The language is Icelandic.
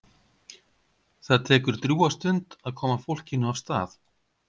Það tekur drjúga stund að koma fólkinu af stað.